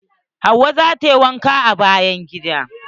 Hauwa zata wanke bayan gida.